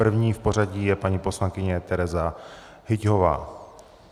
První v pořadí je paní poslankyně Tereza Hyťhová.